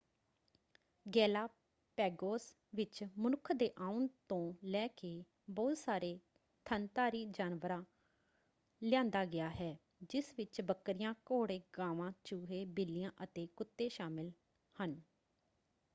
Galapagos ਵਿੱਚ ਮਨੁੱਖ ਦੇ ਆਉਣ ਤੋਂ ਲੈ ਕੇ ਬਹੁਤ ਸਾਰੇ ਥਣਧਾਰੀ ਜਾਨਵਰਾਂ ਲਿਆਂਦਾ ਗਿਆ ਹੈ ਜਿਸ ਵਿੱਚ ਬੱਕਰੀਆਂ ਘੋੜੇ ਗਾਵਾਂ ਚੂਹੇ ਬਿੱਲੀਆਂ ਅਤੇ ਕੁੱਤੇ ਸ਼ਾਮਲ ਹਨ।